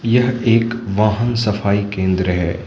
यह एक वाहन सफाई केंद्र है।